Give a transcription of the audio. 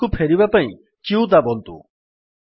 prompt କୁ ଫେରିବା ପାଇଁ q ଦାବନ୍ତୁ